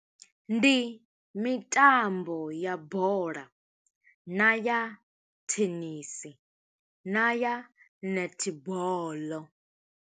Ndi mitambo ya bola, na ya thenisi, na ya netball.